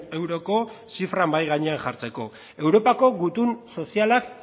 euroko zifra mahai gainean jartzeko europako gutun sozialak